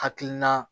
Hakilina